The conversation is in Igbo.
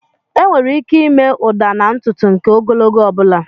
Enwere ike ịme ụda na ntutu nke ogologo ọ bụla.